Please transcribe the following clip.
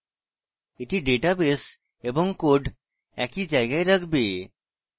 এটি ডাটাবেস এবং code একই জায়গায় রাখবে